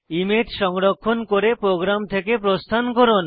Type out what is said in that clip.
image সংরক্ষণ করে program থেকে প্রস্থান করুন